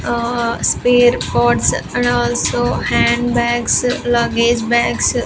Ahh Spare ports and also handbags luggage bags --